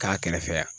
K'a kɛrɛfɛ yan